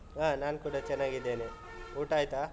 ಹಾ ನಾನ್ ಕೂಡ ಚೆನ್ನಾಗಿದ್ದೇನೆ. ಊಟ ಆಯ್ತಾ?